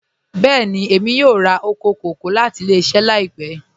Bẹẹ̀ni, emi yọ̀ọ̀ rà oko kọkọ̀ lati ilẹ̀-iṣẹ laipẹ